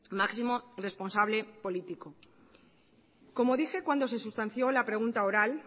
máximo responsable político como dije cuando se sustanció la pregunta oral